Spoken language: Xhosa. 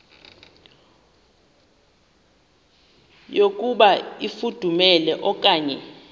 yokuba ifudumele okanye